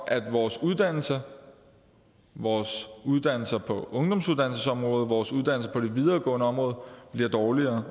at vores uddannelser vores uddannelser på ungdomsuddannelsesområdet vores uddannelser på det videregående område bliver dårligere